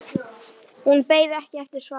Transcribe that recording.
Hún beið ekki eftir svari.